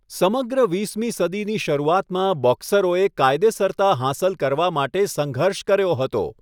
સમગ્ર વીસમી સદીની શરૂઆતમાં, બોક્સરોએ કાયદેસરતા હાંસલ કરવા માટે સંઘર્ષ કર્યો હતો.